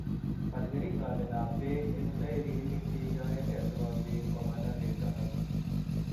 Baal keringonikap beek eng' tairinik cheiyoioge sikobit komanda beek chotok